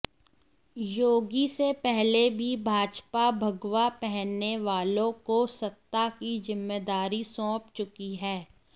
योगी से पहले भी भाजपा भगवा पहनने वालों को सत्ता की जिम्मेदारी सौंप चुकी है